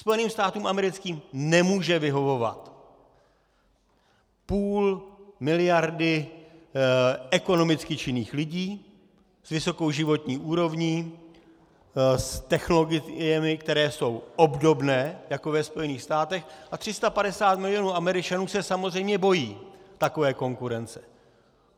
Spojeným státům americkým nemůže vyhovovat půl miliardy ekonomicky činných lidí s vysokou životní úrovní, s technologiemi, které jsou obdobné jako ve Spojených státech, a 350 milionů Američanů se samozřejmě bojí takové konkurence.